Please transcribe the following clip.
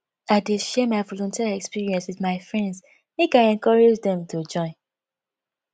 i dey share my volunteer experience wit my friends make i encourage dem to join